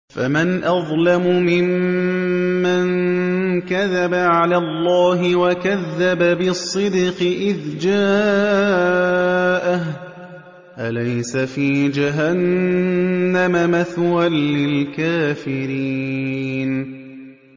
۞ فَمَنْ أَظْلَمُ مِمَّن كَذَبَ عَلَى اللَّهِ وَكَذَّبَ بِالصِّدْقِ إِذْ جَاءَهُ ۚ أَلَيْسَ فِي جَهَنَّمَ مَثْوًى لِّلْكَافِرِينَ